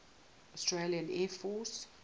australian air force